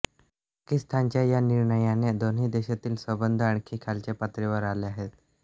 पाकिस्तानच्या या निर्णयाने दोन्ही देशातील संबंध आणखी खालच्या पातळीवर आले आहेत